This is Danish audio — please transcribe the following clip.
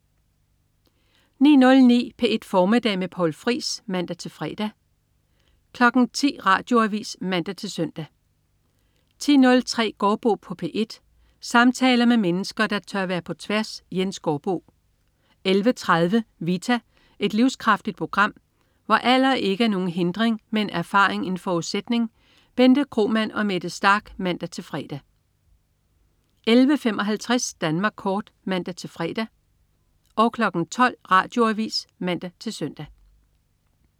09.09 P1 Formiddag med Poul Friis (man-fre) 10.00 Radioavis (man-lør) 10.03 Gaardbo på P1. Samtaler med mennesker, der tør være på tværs. Jens Gaardbo 11.30 Vita. Et livskraftigt program, hvor alder ikke er nogen hindring, men erfaring en forudsætning. Bente Kromann og Mette Starch (man-fre) 11.55 Danmark kort (man-fre) 12.00 Radioavis (man-søn)